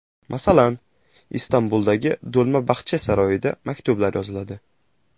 Masalan, Istanbuldagi Do‘lma Baxche saroyida maktublar yoziladi.